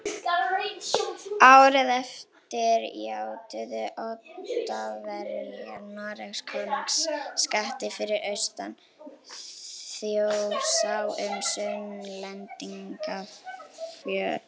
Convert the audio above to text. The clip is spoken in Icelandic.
Árið eftir játuðu Oddaverjar Noregskonungum skatti fyrir austan Þjórsá um Sunnlendingafjórðung